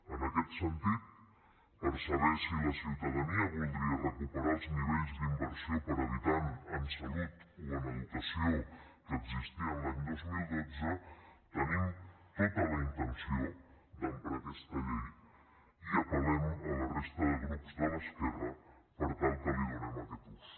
en aquest sentit per saber si la ciutadania voldria recuperar els nivells d’inversió per habitant en salut o en educació que existien l’any dos mil dotze tenim tota la intenció d’emprar aquesta llei i apell’esquerra per tal que li donem aquest ús